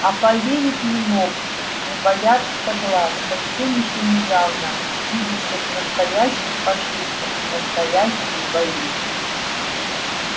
а поверив не мог не бояться глаз совсем ещё недавно видевших настоящих фашистов и настоящие бои